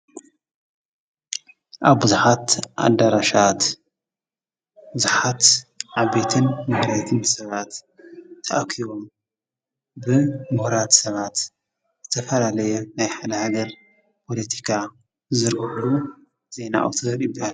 ኣብዙሓት ኣዳራሻት ብዙሓት ዓቤትን ምምነይትን ሰባት ተኣኪቦም ብ ምሁራት ሰባት ዝተፈላለየ ናይ ሓለሃገር ፖሎቲካ ዝዝርሕሉ ዜና ኣውተር ይበሃል።